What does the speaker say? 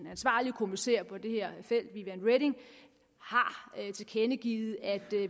ansvarlige kommissær på det her felt viviane reding har tilkendegivet at